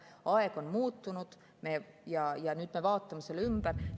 Aeg on muutunud ja nüüd me vaatame selle ümber.